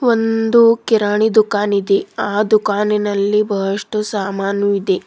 ಒಂದು ಕಿರಾನಿ ದುಖಾನ್ ಇದೆ ಆ ದುಖಾನಿನಲ್ಲಿ ಬಹಷ್ಟು ಸಾಮಾನು ಇದೆ.